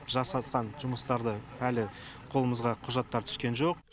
жасатқан жұмыстарды әлі қолымызға құжаттар түскен жоқ